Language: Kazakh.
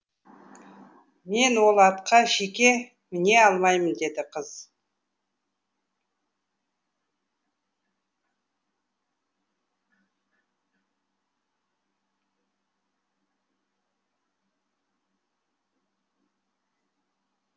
мен ол атқа жеке міне алмаймын деді қыз